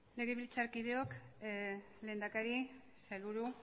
legebiltzarkideok lehendakari sailburu